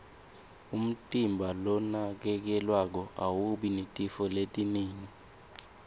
umtimba lonakekelwako awubi netifo letinengi